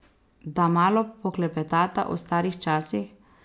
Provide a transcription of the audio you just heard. Da malo poklepetata o starih časih?